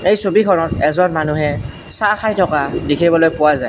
এই ছবিখনত এজন মানুহে চাহ খাই থকা দেখিবলৈ পোৱা যায়।